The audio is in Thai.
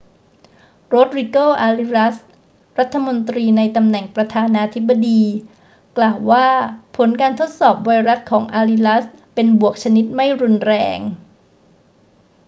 โรดริโก อาริอัส รัฐมนตรีในตำแหน่งประธานาธิบดี กล่าวว่าผลการทดสอบไวรัสของอาริอัสเป็นบวกชนิดไม่รุนแรง